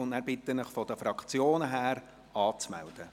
Danach bitte ich Sie, sich seitens der Fraktionen anzumelden.